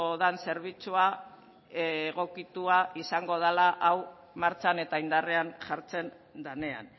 den zerbitzua egokitua izango dela hau martxan eta indarrean jartzen denean